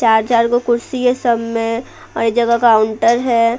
चार-चार को कुर्सी है सब में और यह जगह काउंटर है।